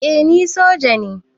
Eh ni soja ne